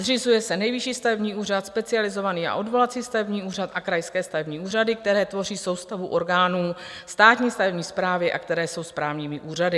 Zřizuje se Nejvyšší stavební úřad, specializovaný a odvolací stavební úřad a krajské stavební úřady, které tvoří soustavu orgánů Státní stavební správy a které jsou správními úřady.